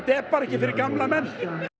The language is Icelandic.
er bara ekki fyrir gamla menn